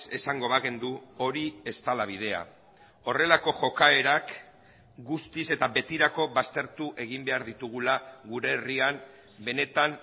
esango bagenu hori ez dela bidea horrelako jokaerak guztiz eta betirako baztertu egin behar ditugula gure herrian benetan